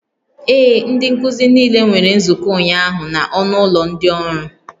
Ee, ndị nkuzi niile nwere nzukọ ụnyaahụ na ọnụ ụlọ ndị ọrụ